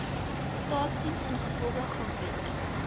staasdiens ingevolge grondwetlike